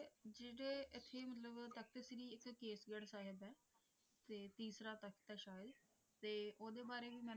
ਸਾਹਿਬ ਤੇ ਤੀਸਰਾ ਤਖ਼ਤ ਅਤੇ ਸ਼ਾਇਦ ਤੇ ਉਹਦੇ ਬਾਰੇ ਵੀ